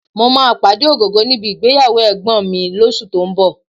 Mo máa pàdé Ògògó níbi ìgbéyàwó ẹ̀gbọ́nbìnrin mi lóṣù tó ń bọ̀